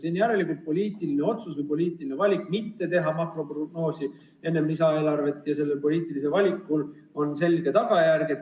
See on järelikult poliitiline otsus või poliitiline valik mitte teha makroprognoosi enne lisaeelarvet ja sellel poliitilisel valikul on selge tagajärg.